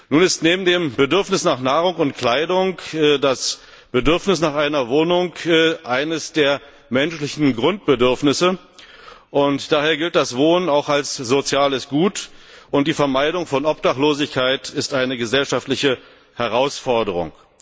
Nun ist neben dem Bedürfnis nach Nahrung und Kleidung das Bedürfnis nach einer Wohnung eines der menschlichen Grundbedürfnisse, und daher gilt das Wohnen auch als soziales Gut, und die Vermeidung von Obdachlosigkeit ist eine gesellschaftliche Herausforderung.